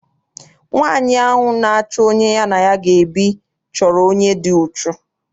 Nwaanyi ahụ na-achọ onye ya na ya ga ebi chọrọ onye dị uchu.